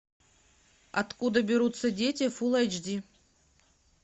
откуда берутся дети фул айч ди